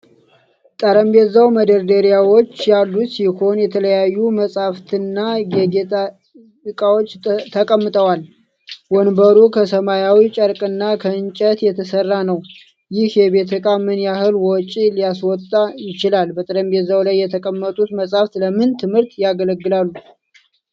ጠረጴዛው መደርደሪያዎች ያሉት ሲሆን፣ የተለያዩ መጻሕፍትና የጌጥ ዕቃዎች ተቀምጠዋል፣ ወንበሩ ከሰማያዊ ጨርቅና ከእንጨት የተሠራ ነው። ይህ የቤት ዕቃ ምን ያህል ወጪ ሊያስወጣ ይችላል? በጠረጴዛው ላይ የተቀመጡት መጻሕፍት ለምን ትምህርት ያገለግላሉ?